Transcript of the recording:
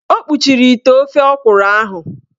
O kpuchiri ite ofe ọkwụrụ ahụ.